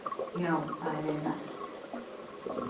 Já það er vel hægt.